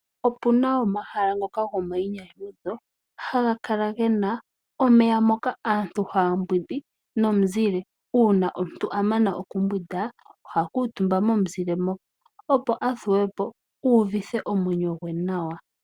Opuna omahala ngoka gomainyanyudho haga kala gena omeya mka aantu haya mbwindi nomuzile uuna omuntu a mana oku mbwinda oha kuutumba momuzile moka, opo a thuwe o uuvithe omwenyo gwe nawa.